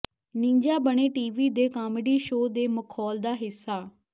Ninja ਬਣੇ TV ਦੇ comedy show ਦੇ ਮਖੌਲ ਦਾ ਹਿੱਸਾ